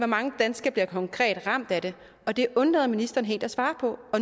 mange danskere der konkret bliver ramt af det og det undlader ministeren helt at svare på